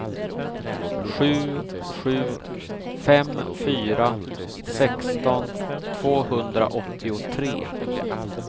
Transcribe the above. sju sju fem fyra sexton tvåhundraåttiotre